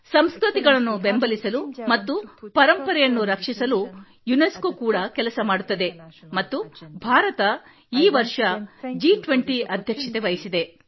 ಸಂಸ್ಕೃತಿಗಳನ್ನು ಬೆಂಬಲಿಸಲು ಮತ್ತು ಪರಂಪರೆಯನ್ನು ರಕ್ಷಿಸಲು ಯುನೆಸ್ಕೋ ಕೂಡಾ ಕೆಲಸ ಮಾಡುತ್ತದೆ ಮತ್ತು ಭಾರತ ಈ ವರ್ಷ ಜಿ20 ಅಧ್ಯಕ್ಷತೆ ವಹಿಸಿದೆ